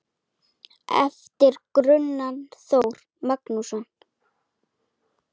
En bróðernið er flátt mjög, og gamanið er grátt.